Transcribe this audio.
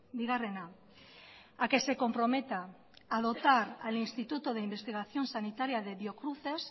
bigarrena a que se comprometa a dotar al instituto de investigación sanitaria de biocruces